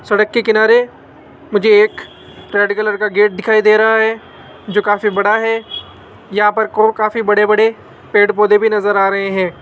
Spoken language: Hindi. सड़क के किनारे मुझे एक रेड कलर का गेट दिखाई दे रहा है जो काफी बड़ा है यहां पर काफी बड़े बड़े पेड़ पौधे भी नजर आ रहे हैं।